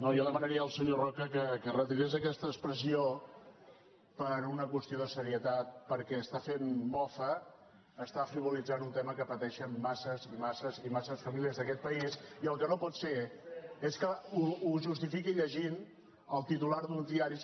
jo demanaria al senyor roca que retirés aquesta expressió per una qüestió de serietat perquè està fent mofa està frivolitzant un tema que pateixen massa i massa famílies d’aquest país i el que no pot ser és que ho justifiqui llegint el titular d’uns diaris